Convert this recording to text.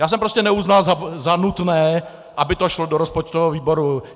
Já jsem prostě neuznal za nutné, aby to šlo do rozpočtového výboru.